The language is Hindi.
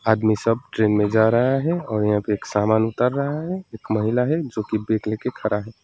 आदमी सब ट्रेन में जा रहा है और यहां पे एक समान उतार राहा है एक महिला है जो की बेग लेके खड़ा है।